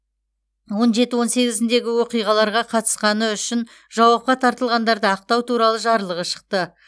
он жеті он сегізіндегі оқиғаларға қатысқаны үшін жауапқа тартылғандарды ақтау туралы жарлығы шықты